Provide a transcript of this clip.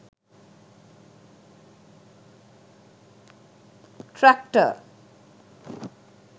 traktor